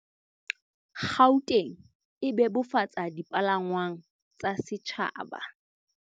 Gauteng e bebofatsa dipalangwang tsa setjhaba